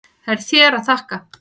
Það er þér að þakka.